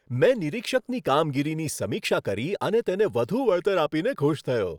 મેં નિરીક્ષકની કામગીરીની સમીક્ષા કરી અને તેને વધુ વળતર આપીને ખુશ થયો.